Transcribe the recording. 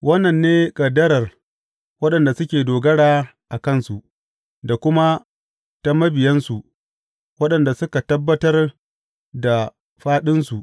Wannan ne ƙaddarar waɗanda suke dogara a kansu, da kuma ta mabiyansu, waɗanda suka tabbatar da faɗinsu.